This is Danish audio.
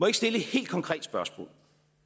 ikke stille et helt konkret spørgsmål